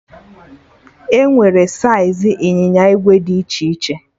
Enwere saiz ịnyịnya ìgwè dị iche iche